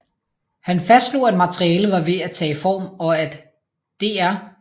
Han fastslog at materialet var ved at tage form og at Dr